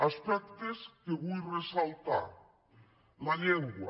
aspectes que en vull ressaltar la llengua